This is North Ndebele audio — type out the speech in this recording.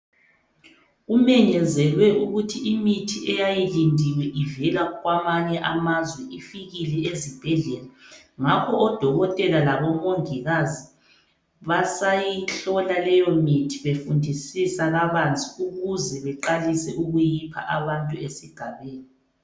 Kumenyezelwe ukuthi imithi eyayilindiwe ivela kwamanye amazwe ifikile ezibhedlela ngakho odokotela labomongikazi basayihlola leyomithi befundisisa kabanzi ukuze beqale ukuyipha abantu esigabeni.